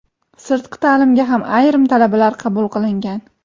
sirtqi taʼlimga ham ayrim talabalar qabul qilingan.